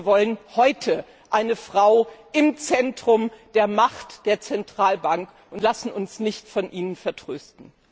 Wir wollen heute eine Frau im Zentrum der Macht der Zentralbank und lassen uns nicht von Ihnen vertrösten.